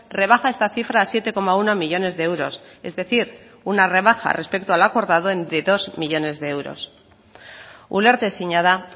rebaja esta cifra a siete coma uno millónes de euros es decir una rebaja respecto al acordado de dos millónes de euros ulertezina da